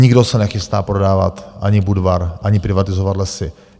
Nikdo se nechystá prodávat ani Budvar, ani privatizovat Lesy.